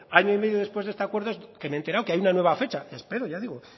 año y medio después de este acuerdo que me he enterado que hay una nueva fecha espero ya digo